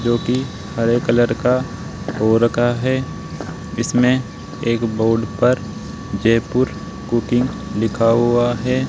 क्योंकि हरे कलर का हो रखा है इसमें एक बोर्ड पर जयपुर कुकिंग लिखा हुआ है।